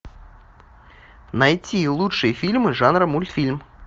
найти лучшие фильмы жанра мультфильм